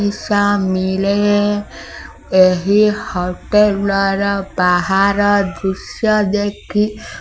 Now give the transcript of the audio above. ଏହି ହଟେଲ ର ବାହାର ଦୃଶ୍ୟ ଦେଖି --